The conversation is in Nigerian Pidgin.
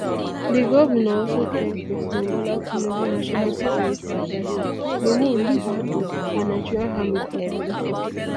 di govnor also thank president bola tinubu national security adviser nuhu ribadu and nigerian army for dia effort